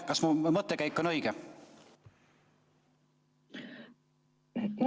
Kas mu mõttekäik on õige?